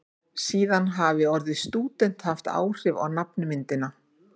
síðan hafi orðið stúdent haft áhrif á nafnmyndina